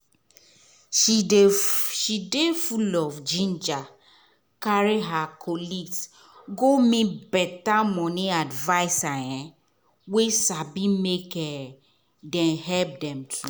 she dey she dey full of ginger carry her colleagues go meet better money advisor um wey sabi make um dem help them